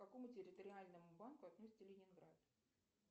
к какому территориальному банку относится ленинград